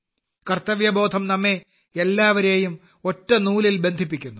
കർത്തവ്യബോധം നമ്മെ എല്ലാവരെയും ഒറ്റ നൂലിൽ ബന്ധിപ്പിക്കുന്നു